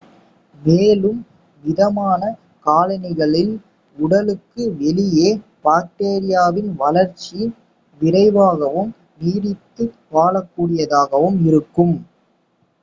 மேலும் மிதமான காலநிலைகளில் உடலுக்கு வெளியே பாக்டீரியாவின் வளர்ச்சி விரைவாகவும் நீடித்து வாழக்கூடியதாகவும் இருக்கும்